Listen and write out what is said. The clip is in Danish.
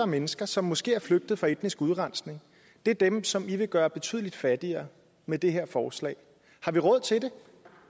mennesker som måske er flygtet fra etnisk udrensning det er dem som i vil gøre betydeligt fattigere med det her forslag har vi råd til det